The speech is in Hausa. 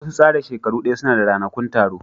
Wasu tsara shekaru daya suna da ranakun taro